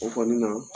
O kɔni na